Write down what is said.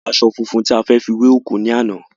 A lọ ra aṣọ funfun tí a fẹ́ fi wẹ òkú ní àná